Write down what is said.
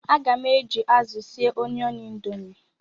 Aga m eji azụ sie Onion Indomie.